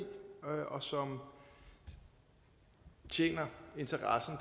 og som tjener interessen